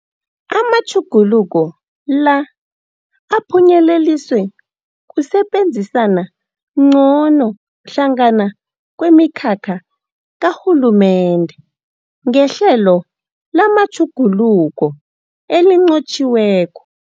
Amatjhuguluko la aphunyeleliswe kusebenzisana ngcono hlangana kwemikhakha karhulumende ngehlelo lamatjhuguluko elinqotjhiweko.